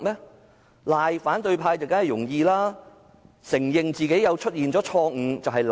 指責反對派當然容易，承認自己有錯誤卻難。